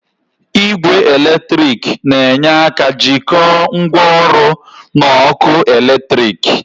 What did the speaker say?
Igwe eletrik na-enyere aka jikọọ ngwaọrụ na ọkụ eletrik.